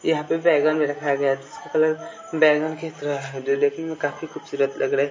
यहां पे बैगन भी रखा गया है कलर बैगन की तरह है जो देखने में काफी खूबसूरत लग रहा--